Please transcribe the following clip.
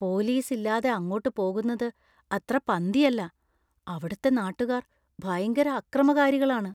പൊലീസില്ലാതെ അങ്ങോട്ട് പോകുന്നത് അത്ര പന്തിയല്ല; അവിടുത്തെ നാട്ടുകാർ ഭയങ്കര അക്രമകാരികളാണ്.